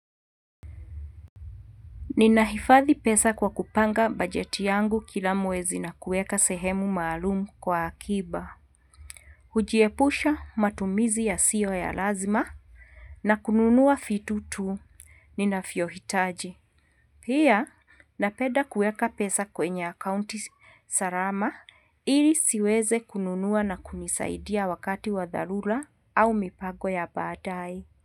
Ninahifadhi pesa kwa kupanga bajeti yangu kila mwezi na kuweka sehemu maalumu kwa akiba. Hujiepusha matumizi yasiyo ya lazima na kununua vitu tu. Ninavyohitaji. Pia, napenda kuweka pesa kwenye akaunti salama ili ziweze kununua na kunisaidia wakati wa dharura au mipango ya baadaye.